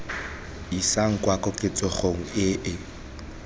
isang kwa koketsegong e e